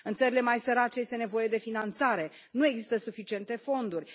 În țările mai sărace este nevoie de finanțare, nu există suficiente fonduri.